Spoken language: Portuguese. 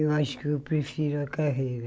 Eu acho que eu prefiro a carreira.